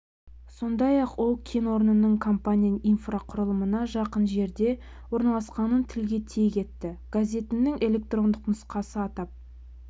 сондай-ақ ол кен орнының компания инфрақұрылымына жақын жерде орналасқанын тілге тиек етті газетінің электрондық нұсқасы атап